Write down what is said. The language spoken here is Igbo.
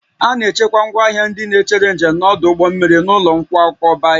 A na-echekwa ngwaahịa ndị na-echere njem n'ọdụ ụgbọ mmiri n'ụlọ nkwakọba ihe